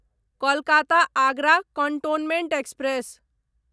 Kolkata Agra cantonment express